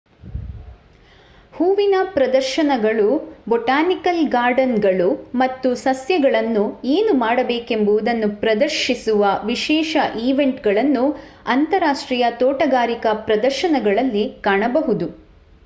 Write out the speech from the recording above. ಹೂವಿನ ಪ್ರದರ್ಶನಗಳು ಬೊಟಾನಿಕಲ್ ಗಾರ್ಡನ್‌ಗಳು ಮತ್ತು ಸಸ್ಯಗಳನ್ನು ಏನು ಮಾಡಬೇಕೆಂಬುದನ್ನು ಪ್ರದರ್ಶಿಸುವ ವಿಶೇಷ ಈವೆಂಟ್‌ಗಳನ್ನು ಅಂತರರಾಷ್ಟ್ರೀಯ ತೋಟಗಾರಿಕಾ ಪ್ರದರ್ಶನಗಳಲ್ಲಿ ಕಾಣಬಹುದು